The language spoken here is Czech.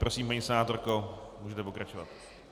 Prosím, paní senátorko, můžete pokračovat.